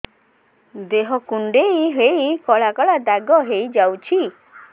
ଦେହ କୁଣ୍ଡେଇ ହେଇ କଳା କଳା ଦାଗ ହେଇଯାଉଛି